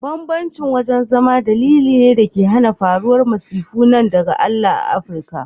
Bambancin wajen zama dalili ne dake hana faruwar masifu na daga Allah a Africa.